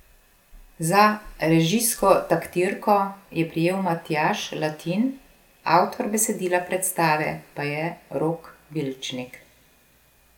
Za režijsko taktirko je prijel Matjaž Latin, avtor besedila predstave pa je Rok Vilčnik.